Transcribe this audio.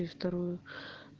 вторую